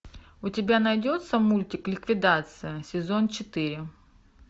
у тебя найдется мультик ликвидация сезон четыре